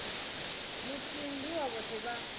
muthihi ndi wa vhoṱhe vha